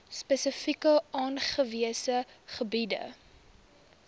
spesifiek aangewese gebiede